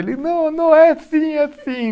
Ele, não, não é sim, é sim.